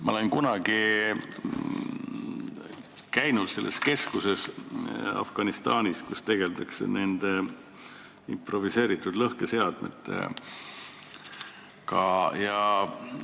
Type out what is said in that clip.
Ma olen kunagi käinud Afganistanis selles keskuses, kus nende improviseeritud lõhkeseadmetega tegeldakse.